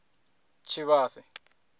tshivhase